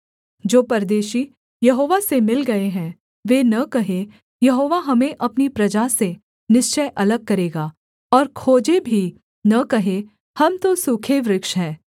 जो परदेशी यहोवा से मिल गए हैं वे न कहें यहोवा हमें अपनी प्रजा से निश्चय अलग करेगा और खोजे भी न कहें हम तो सूखे वृक्ष हैं